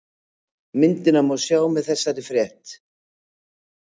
Myndina má sjá með þessari frétt